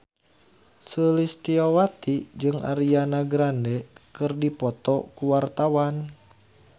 Sulistyowati jeung Ariana Grande keur dipoto ku wartawan